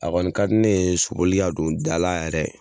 A kɔni ka di ne soboli ka don dala yɛrɛ